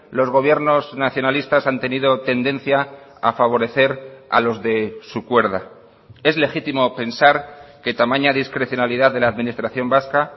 los gobiernos nacionalistas han tenido tendencia a favorecer a los de su cuerda es legítimo pensar que tamaña discrecionalidad de la administración vasca